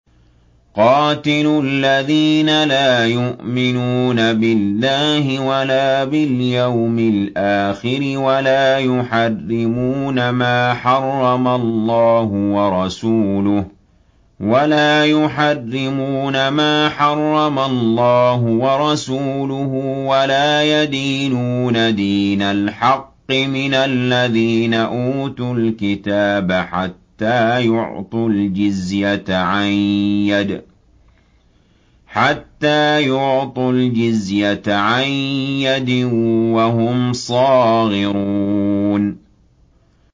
قَاتِلُوا الَّذِينَ لَا يُؤْمِنُونَ بِاللَّهِ وَلَا بِالْيَوْمِ الْآخِرِ وَلَا يُحَرِّمُونَ مَا حَرَّمَ اللَّهُ وَرَسُولُهُ وَلَا يَدِينُونَ دِينَ الْحَقِّ مِنَ الَّذِينَ أُوتُوا الْكِتَابَ حَتَّىٰ يُعْطُوا الْجِزْيَةَ عَن يَدٍ وَهُمْ صَاغِرُونَ